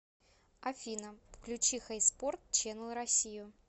афина включи хэйспорт ченнэл россию